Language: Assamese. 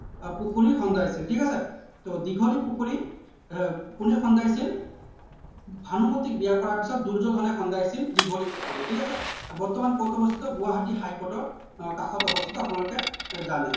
আহ পুখুৰী খন্দাইছিল ঠিক আছে so দীঘলী পুখুৰী এৰ কোনে খন্দাইছিল ভানুমতিক বিয়া কৰোৱাৰ পিছত দুৰ্যোধনে খন্দাইছিল দীঘলী পুখুৰী ঠিক আছে বৰ্তমান কত অৱস্থিত গুৱাহাটীৰ high court ৰ আহ কাষত অৱস্থিত আপোনালোকে জানে